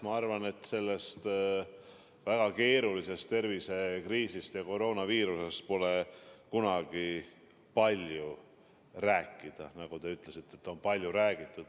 Ma arvan, et sellest väga keerulisest tervisekriisist ja koroonaviirusest pole kunagi palju rääkida – te ütlesite, et sellest on juba palju räägitud.